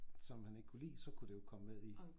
Som han ikke kunne lide så kunne det jo komme med i